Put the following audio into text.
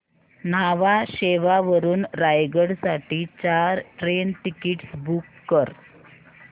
न्हावा शेवा वरून रायगड साठी चार ट्रेन टिकीट्स बुक कर